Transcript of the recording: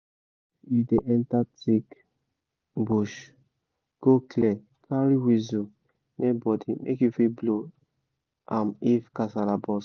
if you dey enter thick bush go clear carry whistle near body make you fit blow am if kasala burst